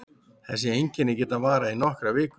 Þessi einkenni geta varað í nokkrar vikur.